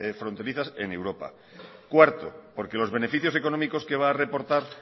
fronterizas en europa cuarto porque los beneficios económicos que va a reaportar